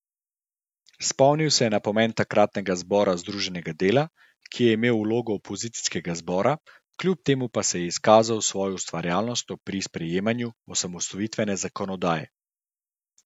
Spomnil je na pomen takratnega zbora združenega dela, ki je imel vlogo opozicijskega zbora, kljub temu pa se je izkazal s svojo ustvarjalnostjo pri sprejemanju osamosvojitvene zakonodaje.